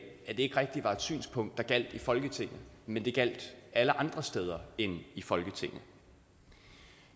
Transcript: det ikke rigtig var et synspunkt der gjaldt i folketinget men det gjaldt alle andre steder end i folketinget